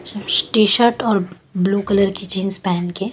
T shirt blue colour कलर की jeans पेहन के--